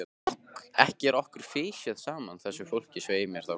Ekki er okkur fisjað saman, þessu fólki, svei mér þá!